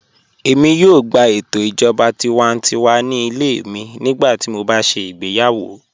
Èmi yóò gbà ètò ìjọba tìwántíwà ní ilẹ̀ mi nígbàtí mó bá ṣé igbèyàwó